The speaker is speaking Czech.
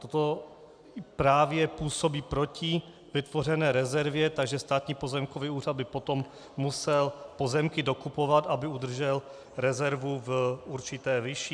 Toto právě působí proti vytvořené rezervě, takže Státní pozemkový úřad by potom musel pozemky dokupovat, aby udržel rezervu v určité výši.